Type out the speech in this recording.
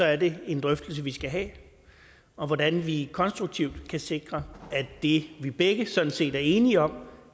er det en drøftelse vi skal have om hvordan vi konstruktivt kan sikre at det vi begge sådan set er enige om